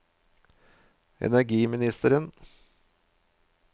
energiministeren